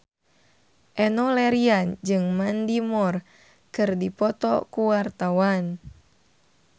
Enno Lerian jeung Mandy Moore keur dipoto ku wartawan